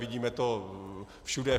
Vidíme to všude.